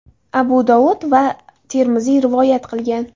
Abu Dovud va Termiziy rivoyat qilgan.